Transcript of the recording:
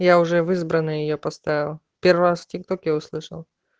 я уже в избранные её поставила первая скитоки услышала